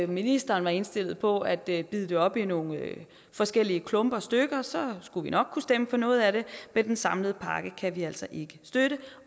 ministeren var indstillet på at dele det op i nogle forskellige klumper og stykker skulle vi nok kunne stemme for noget af det men den samlede pakke kan vi altså ikke støtte